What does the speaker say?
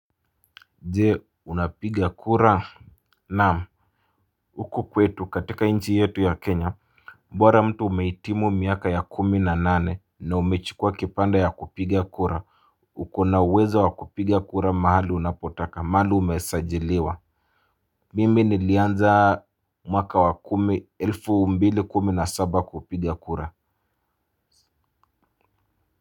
Je unapiga kura naam huku kwetu katika nchi yetu ya Kenya bora mtu umehitimu miaka ya kumi na nane na umechukua kipande ya kupiga kura. Uko na uwezo wa kupiga kura mahali unapotaka mahali umesajiliwa. Mimi nilianza mwaka wa kumi elfu mbili kumi na saba kupiga kura.